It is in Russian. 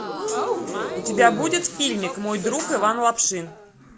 у тебя будет фильмик мой друг иван лапшин